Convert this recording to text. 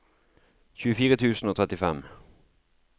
tjuefire tusen og trettifem